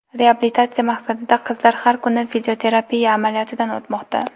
Reabilitatsiya maqsadida qizlar har kuni fizioterapiya amaliyotidan o‘tmoqda.